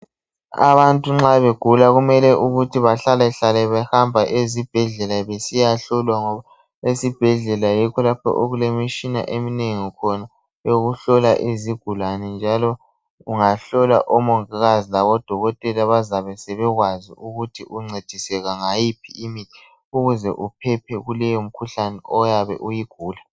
Abantu nxa begula kumele ukuthi bahlalahlale bahambe esibhedlela bayehlolwa ngoba yikho okulemitshina eminengi yokuhlola izigulane. Ungahlolwa oDokotela laboMongikazi bayabe sebekwazi ukuthi uncediseka ngayiphi imithi ukuze uphephe kuleyo mikhuhlane oyabe uyigula.